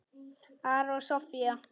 Ari og Soffía.